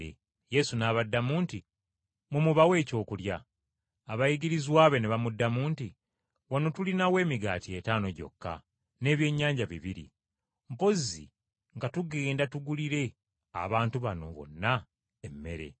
Yesu n’abaddamu nti, “Mmwe mubawe ekyokulya!” Abayigirizwa be ne bamuddamu nti, “Wano tulinawo emigaati etaano gyokka n’ebyennyanja bibiri, mpozi nga tugenda tugulire abantu bano bonna emmere.”